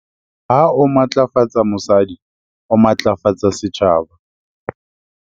Ha o matlafatsa mosadi, o matlafatsa setjhaba.